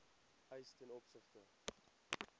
eis ten opsigte